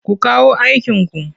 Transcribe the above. Ku kawo aikinku!